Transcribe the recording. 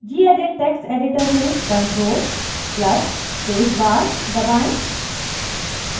gedit text editor में ctrl + space bar दबाएं